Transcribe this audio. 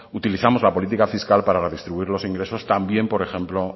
utilizamos la política fiscal para distribuir los ingresos también por ejemplo